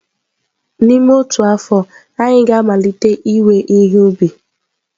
N'ime otu afọ, anyị ga-amalite iwe ihe ubi.